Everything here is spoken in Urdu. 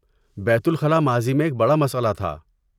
بیت الخلاء ماضی میں ایک بڑا مسئلہ تھا۔